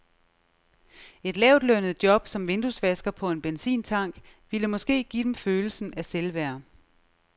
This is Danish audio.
Et lavtlønnet job som vinduesvasker på en benzintank ville måske give dem følelsen af selvværd.